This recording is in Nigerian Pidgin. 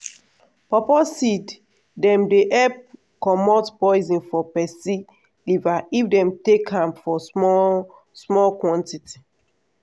pawpaw seed dem dey help comot poison for peson liver if dem take am for small small quantity.